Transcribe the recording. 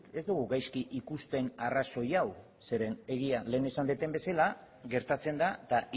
ez dugu gaizki ikusten arrazoi hau zeren egia lehen esan dudan bezala gertatzen da eta